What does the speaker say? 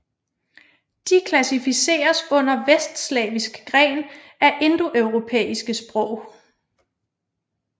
De klassificeres under vestslaviskgren af indoeuropæiske sprog